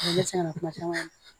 Dɛsɛ kana kuma caman